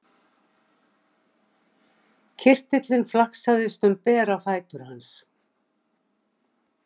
Kirtillinn flaksaðist um bera fætur hans.